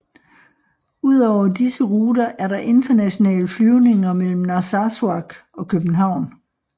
Ud over disse ruter er der internationale flyvninger mellem Narsarsuaq og København